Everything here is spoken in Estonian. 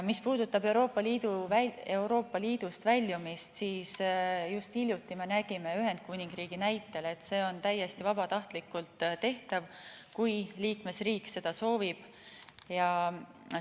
Mis puudutab Euroopa Liidust väljumist, siis just hiljuti nägime Ühendkuningriigi näitel, et see on täiesti vabatahtlikult tehtav, kui liikmesriik seda soovib.